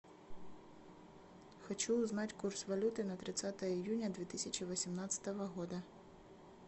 хочу узнать курс валюты на тридцатое июня две тысячи восемнадцатого года